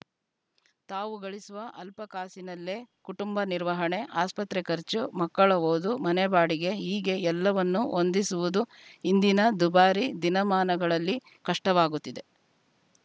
ತಾವು ಗಳಿಸುವ ಅಲ್ಪ ಕಾಸಿನಲ್ಲೇ ಕುಟುಂಬ ನಿರ್ವಹಣೆ ಆಸ್ಪತ್ರೆ ಖರ್ಚು ಮಕ್ಕಳ ಓದು ಮನೆ ಬಾಡಿಗೆ ಹೀಗೆ ಎಲ್ಲವನ್ನೂ ಹೊಂದಿಸುವುದು ಇಂದಿನ ದುಬಾರಿ ದಿನಮಾನಗಳಲ್ಲಿ ಕಷ್ಟವಾಗುತ್ತಿದೆ